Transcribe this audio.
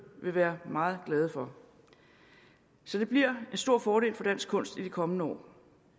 vil være meget glade for så det bliver en stor fordel for dansk kunst i de kommende år